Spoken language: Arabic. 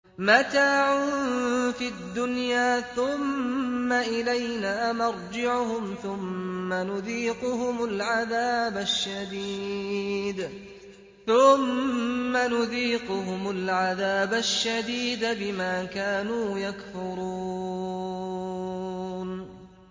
مَتَاعٌ فِي الدُّنْيَا ثُمَّ إِلَيْنَا مَرْجِعُهُمْ ثُمَّ نُذِيقُهُمُ الْعَذَابَ الشَّدِيدَ بِمَا كَانُوا يَكْفُرُونَ